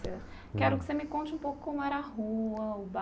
Quero que você me conte um pouco como era a rua, o